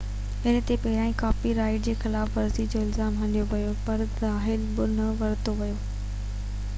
هن تي پهريان ڪاپي رائيٽ جي خلاف ورزي جو الزام هنيو ويو هو پر تحويل ۾ نه ورتو ويو